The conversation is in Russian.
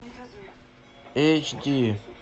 эйч ди